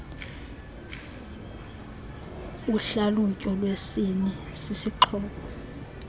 uhlalutyo lwesini sisixhobo